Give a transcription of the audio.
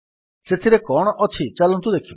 ସେଥିରେ କଣ ଅଛି ଚାଲନ୍ତୁ ଦେଖିବା